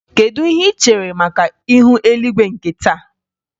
Kedu ihe ị chere maka ihu eluigwe nke taa?